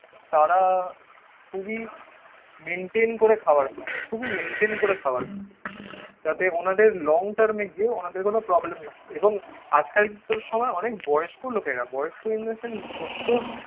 তাঁরা খুবই মেনটেন করে খাবার খান. খুবই মেনটেন করে খাবার খান. যাতে ওনাদের লং টার্মে গিয়ে ওনাদের কোন প্রবলেম না হয়. এবং আজকাল তো সময় অনেক বয়স্ক লোকেরা. বয়স্ক ইন দা সেন্স সত্তোর